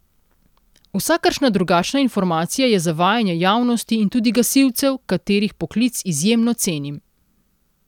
Vsakršna drugačna informacija je zavajanje javnosti in tudi gasilcev, katerih poklic izjemno cenim.